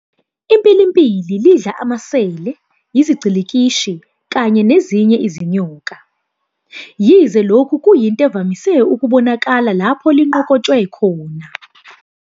"IMpilimpili lidla amaSele, iziGcilikishi, kanye nezinye izinyoka, Yize lokhu kuyinte evamise ukubonakala lapho linqokotshwe khona".